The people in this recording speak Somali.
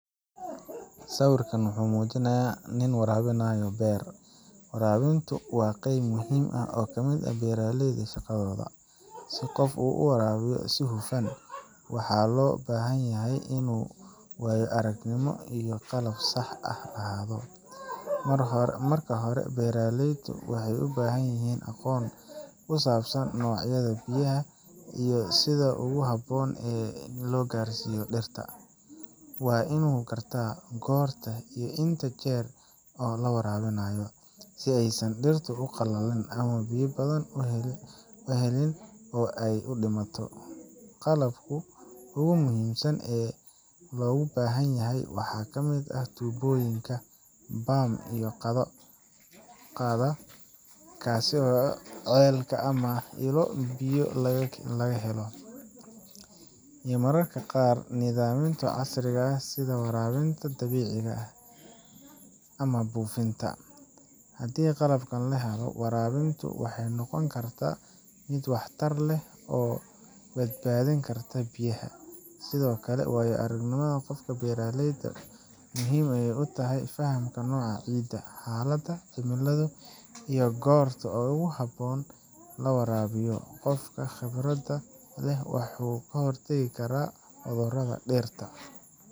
Sawirkan waxa uu muujinayaa nin waraabinaya beer. Waraabintu waa qayb muhiim ah oo ka mid ah beeralayda shaqadooda. Si qof u waraabiyo si hufan, waxaa loo baahan yahay waayo aragnimo iyo qalab sax ah lahaado. Marka hore, beeraleyda waxay u baahan yihiin aqoon ku saabsan noocyada biyaha iyo sida ugu habboon ee loo gaarsiiyo dhirta. Waa in uu gartaa goorta iyo inta jeer ee la waraabinayo, si aysan dhirtu u qallalin ama biyo badan u helin oo ay u dhammaato. Qalabka ugu muhiimsan ee loo baahanyahay waxaa ka mid ah tuubooyin, bam biyo qaada, kaasi oo ceel ama ilo biyo laga helo, iyo mararka qaar nidaamyo casri ah sida waraabinta dhibicda ah buufinta. Haddii qalabkan la helo, waraabintu waxay noqon kartaa mid waxtar leh oo badbaadin karta biyaha. Sidoo kale, waayo aragnimada qofka beeralayda ah waxay muhiim u tahay fahamka nooca ciidda, xaaladda cimilada, iyo goorta ugu habboon ee la waraabiyo. Qofka khibradda leh wuxuu ka hortagi karaa cudurrada dhirta.